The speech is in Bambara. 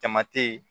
Jama tɛ ye